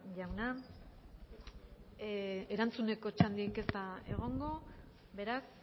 jauna erantzuneko txandarik ez da egongo beraz